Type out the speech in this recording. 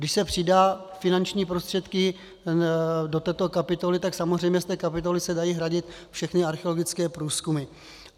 Když se přidají finanční prostředky do této kapitoly, tak samozřejmě z té kapitoly se dají hradit všechny archeologické průzkumy.